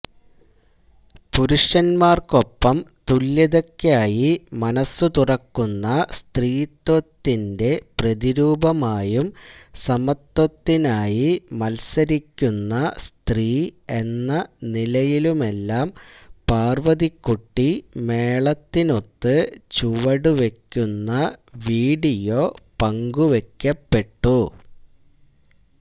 പുരുഷന്മാർക്കൊപ്പം തുല്യതയ്ക്കായി മനസ്സുതുറക്കുന്ന സ്ത്രീത്വത്തിന്റെ പ്രതിരൂപമായും സമത്വത്തിനായി മത്സരിക്കുന്ന സ്ത്രീ എന്ന നിലയിലുമെല്ലാം പാർവതിക്കുട്ടി മേളത്തിനൊത്ത് ചുവടുവയ്ക്കുന്ന വീഡിയോ പങ്കുവയ്ക്കപ്പെട്ടു